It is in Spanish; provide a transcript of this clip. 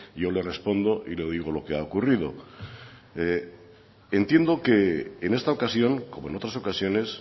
yo le respondo y le digo lo que ha ocurrido entiendo que en esta ocasión como en otras ocasiones